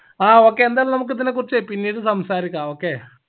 ആ okay എന്തായലും നമുക്ക് ഇതിനെ കുറിച്ച് പിന്നീട് സംസാരിക്കാ okay